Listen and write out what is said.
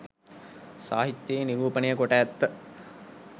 සාහිත්‍යයේ නිරූපණය කොට ඇත.